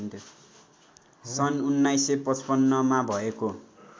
सन् १९५५ मा भएको